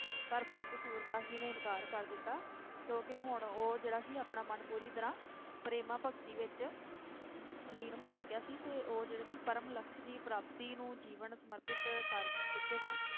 ਪਰ ਭਗਤ ਸੂਰਦਾਸ ਜੀ ਨੇ ਇਨਕਾਰ ਕਰ ਦਿੱਤਾ ਕਿਉਂਕਿ ਹੁਣ ਉਹ ਜਿਹੜਾ ਸੀ ਆਪਣਾ ਮਨ ਪੂਰੀ ਤਰਾਹ ਪ੍ਰੇਮਾਂ ਭਗਤੀ ਵਿਚ ਲੀਨ ਹੋ ਚੁਕਿਆ ਸੀ ਤੇ ਉਹ ਜਿਹੜੇ ਸੀ ਪਰਮ ਲਕਸ਼ ਦੀ ਪ੍ਰਾਪਤੀ ਨੂੰ ਜੀਵਨ ਸਮਰਪਿਤ ਕਰ ਚੁਕੇ ਸਨ